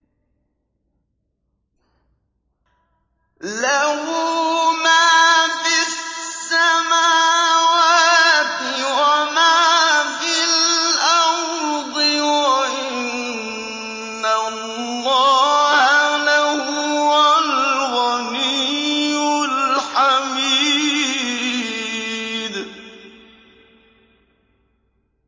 لَّهُ مَا فِي السَّمَاوَاتِ وَمَا فِي الْأَرْضِ ۗ وَإِنَّ اللَّهَ لَهُوَ الْغَنِيُّ الْحَمِيدُ